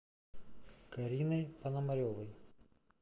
кариной пономаревой